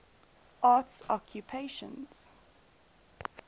arts occupations